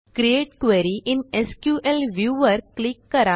create query in SQL view वर click करा